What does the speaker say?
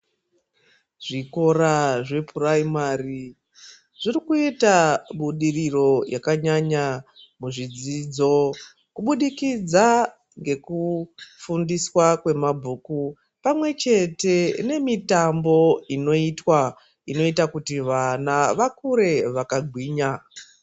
Zvikora zvepuraimari zvirikuita budiriro yakanyanya muzvidzidzo kubudikidza ngekufundiswa kwemabhiku pamwechete nemitambo inoitwa inoita kuti vana vakure vakagwinya.